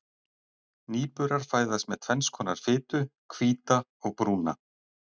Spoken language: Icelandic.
Nýburar fæðast með tvenns konar fitu, hvíta og brúna.